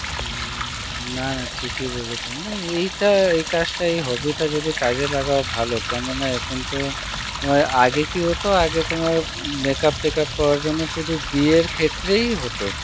হম না না ঠিক ই বলললে এইটা এই কাজটা এই hobby টা যদি কাজে লাগাও ভালো কেন না এখন তো আগে কি হত আগে তোমার makeup টেকআপ করার জন্যে সুধু বিয়ের ক্ষেত্রেই হত